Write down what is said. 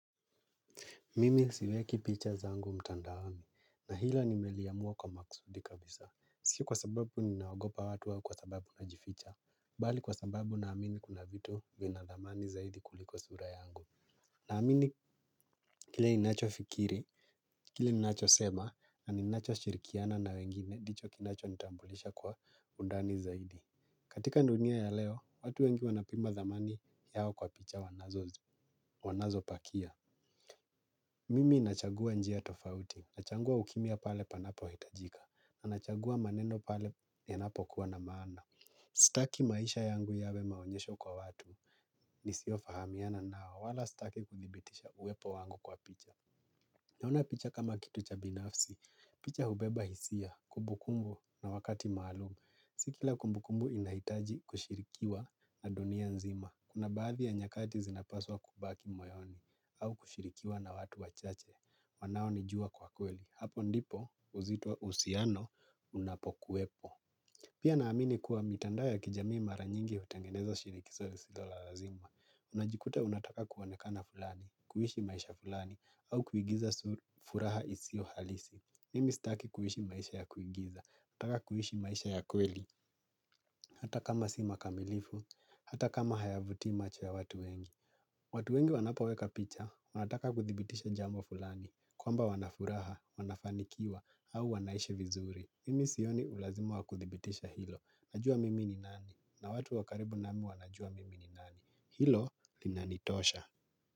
Mimi siweki picha zangu mtandaoni na hilo nimeliamua kwa maksudi kabisa. Sio kwa sababu ninaogopa watu au kwa sababu najificha. Bali kwa sababu naamini kuna vitu vina dhamani zaidi kuliko sura yangu. Naamini kile ninacho fikiri, kile ninacho sema, na ninacho shirikiana na wengine ndicho kinachonitambulisha kwa undani zaidi. Katika dunia ya leo, watu wengi wanapima dhamani yao kwa picha wanazopakia. Mimi nachagua njia tofauti, nachagua ukimya pale panapohitajika, na nachagua maneno pale yanapokuwa na maana. Sitaki maisha yangu yawe maonyesho kwa watu nisiofahamiana nao wala sitaki kuthibitisha uwepo wangu kwa picha. Naona picha kama kitu cha binafsi, picha hubeba hisia, kumbukumbu na wakati maalumu. Si kila kumbukumbu inahitaji kushirikiwa na dunia nzima. Kuna baadhi ya nyakati zinapaswa kubaki moyoni au kushirikiwa na watu wachache, wanaonijua kwa kweli. Hapo ndipo uzito wa uhusiano unapo kuwepo. Pia naamini kuwa mitandao ya kijamii mara nyingi hutengeneza shinikizo lisilo la lazima. Unajikuta unataka kuonekana fulani, kuishi maisha fulani, au kuigiza furaha isio halisi. Mimi sitaki kuishi maisha ya kuigiza, hutaka kuishi maisha ya kweli. Hata kama si makamilifu, hata kama hayavutii macho ya watu wengi. Watu wengi wanapoweka picha, wanataka kuthibitisha jambo fulani, kwamba wana furaha, wanafanikiwa, au wanaishi vizuri. Mimi sioni ulazima wa kuthibitisha hilo. Najua mimi ni nani. Na watu wa karibu nami wanajua mimi ni nani. Hilo linanitosha.